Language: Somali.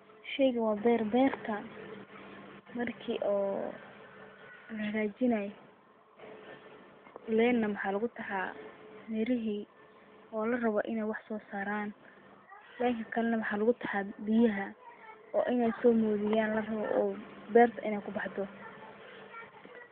Sheygan waa beer, beerka markii oo lahagajinay len na maxa lugu taxaa mirihi oo la rabo inay wax soo saaran lenka kale na maxa lugu taxaa biyaha oo inay soo modiyan larabo oo beerta inay kubaxdo